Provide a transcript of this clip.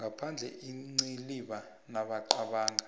ngaphandle iinciliba namaqanda